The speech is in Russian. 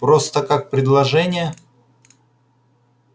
просто как предложение